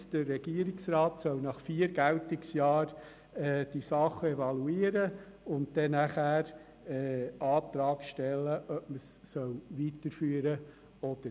Diese besagt, dass der Regierungsrat nach vier Geltungsjahren die Regelung evaluieren und nachher den Antrag stellen soll, ob man diese weiterführen soll.